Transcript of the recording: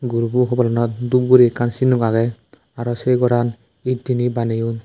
guru bu hobalanot dhup guri ekkan sinno aage aro se ghoran ed dine baneyon.